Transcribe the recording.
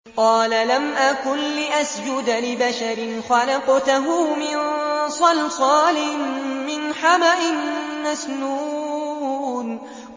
قَالَ لَمْ أَكُن لِّأَسْجُدَ لِبَشَرٍ خَلَقْتَهُ مِن صَلْصَالٍ مِّنْ حَمَإٍ مَّسْنُونٍ